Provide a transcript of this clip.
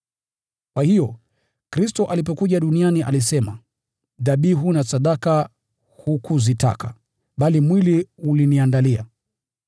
Kwa hiyo, Kristo alipokuja duniani, alisema: “Dhabihu na sadaka hukuzitaka, bali mwili uliniandalia;